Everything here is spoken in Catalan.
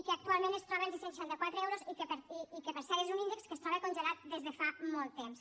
i que actualment es troba en sis cents i seixanta quatre euros i que per cert és un índex que es troba congelat des de fa molt temps